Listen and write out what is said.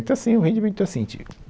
Então assim, o rendimento é assim, tipo.